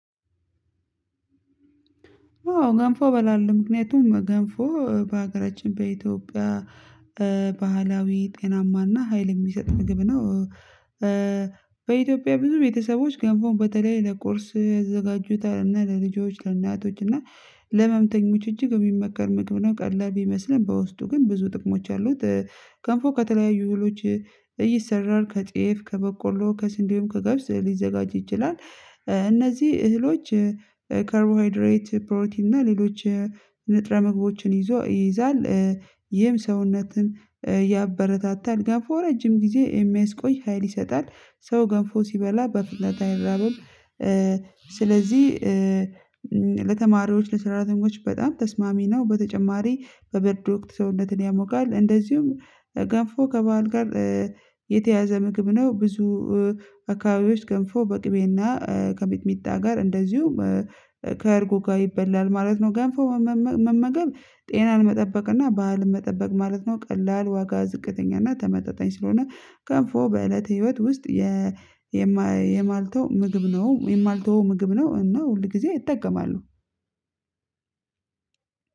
አዎ ገንፎ በላለው። ምክንያቱም ገንፎ በሀገራችን በኢትዮጵያ ባህላዊ፣ ጤናማና ሀይል የሚሰጥ ምግብ ነው። በኢትዮጵያ ብዙ ቤተሰቦች ገንፎን በተለይ ለቁርስ ያዘጋጁታል፤ እና ለልጆች፣ ለእናቶች እና ለህመምተኞች እጅግ የሚመከር ምግብ ነው። ቀላል ቢመስልም፤ በውስጡ ግን ብዙ ጥቅሞች አሉት። ገንፎ ከተለያዩ እህሎች ይሰራል። ከጤፍ፣ ከበቆሎ፣ ከስንዴ ወይም ከገብስ ሊዘጋጅ ይችላል። እነዚህ እህሎች ካርቦሃይድሬት፣ ፕሮቲን እና ሌሎች ንጥረ ምግቦችን ይዞ ይይዛል። ይህም ሰውነትን ያበረታታል። ገንፎ ረጅም ጊዜ የሚያስቆይ ሀይል ይሰጣል። ሰው ገንፎ ሲበላ በፍጥነታ አይራብም። ስለዚህ ለተማሪዎች ለሰራተኞች በጣም ተስማሚ ነው። በተጨማሪ በብርድ ወቅት ሰውነትን ያሞቃል፤ እንደዚሁም ገንፎ ከበዓል ጋር የተያያዘ ምግብ ነው። ብዙ አካባቢዎች ገንፎ በቅቤና ከሚጥሚጣ ጋር እንደዚሁም ከእርጎ ጋር ይበላል ማለት ነው። ገንፎ መመ መመገብ ጤናን መጠበቅ እና ባህልን መጠበቅ ማለት ነው። ቀላል ዋጋ ዝቅተኛና ተመጣጣኝ ስለሆነ ገንፎ በእለተ ህይወት ውስጥ የማይ የማልተው ምግብ ነው የማልተወው ምግብ ነው። እና ሁል ጊዜ እጠቀማልሁ።